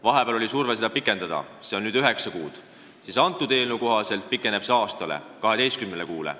Vahepeal oli surve seda pikendada ja nüüd on see üheksa kuud, eelnõu kohaselt aga pikeneb aasta ehk 12 kuuni.